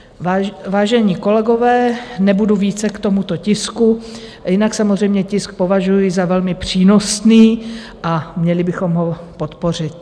Vážení kolegové, nebudu více k tomuto tisku, jinak samozřejmě tisk považuji za velmi přínosný a měli bychom ho podpořit.